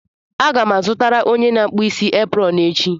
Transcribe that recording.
Aga m azụtara onye na-akpụ isi eprọn echi.